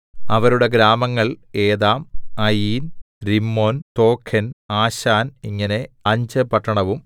അവരുടെ ഗ്രാമങ്ങൾ Etam Ain Rimmon Tochen Ashan ഇങ്ങനെ അഞ്ച് പട്ടണവും